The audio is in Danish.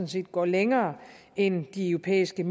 set går længere end de europæiske